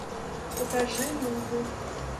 покажи нубы